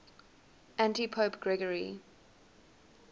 antipope gregory